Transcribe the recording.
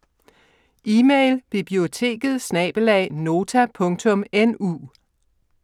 Email: biblioteket@nota.nu